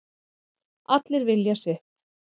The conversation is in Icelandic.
Allir vilja sitt